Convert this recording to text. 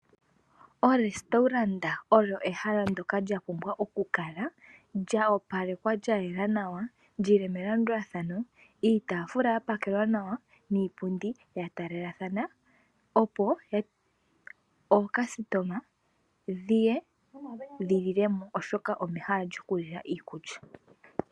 Ehala lyiikulya yokulanditha olyo ehala lyapumbwa oku kala lya opalekwa lya yela nawa lyi li melandulathano. Iitaafula ya pakelwa nawa niipundi ya taalelathana opo aalandi ye ye yalilemo osho omehala lyokulila iikulya.